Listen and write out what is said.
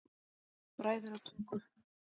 Bræðratungu